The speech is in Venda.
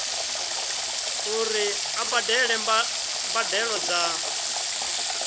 uri a badele mbadelo dza